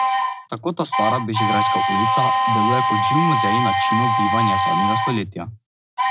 Tako ta stara bežigrajska ulica deluje kot živ muzej načinov bivanja zadnjega stoletja.